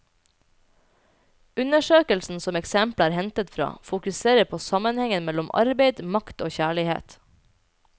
Undersøkelsen som eksemplet er hentet fra, fokuserer på sammenhengen mellom arbeid, makt og kjærlighet.